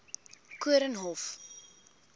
koornhof